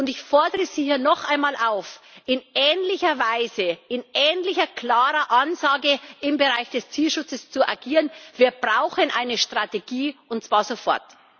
Ich fordere Sie hier noch einmal auf, in ähnlicher Weise, in ähnlich klarer Ansage im Bereich des Tierschutzes zu agieren. Wir brauchen eine Strategie, und zwar sofort!